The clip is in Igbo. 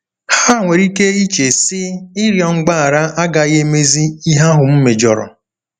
Ha nwere ike iche, sị, ‘Ịrịọ mgbaghara agaghị emezi ihe ahụ m mejọrọ. '